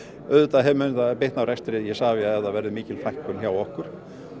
auðvitað mun það bitna á rekstri Isavia ef það verður mikil fækkun hjá okkur